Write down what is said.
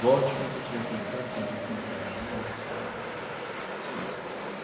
Volte quando você tiver que voltar, porque ela já foi enterrada tal não tem mais.